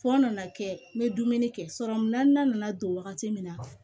Fɔ nana kɛ n bɛ dumuni kɛ sɔrɔmu naaninan nana don wagati min na